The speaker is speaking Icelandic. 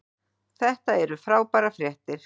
Þetta eru frábærar fréttir.